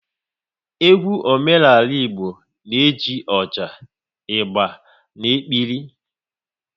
Egwu omenala Igbo na-eji ọjà, ịgba na-ekpiri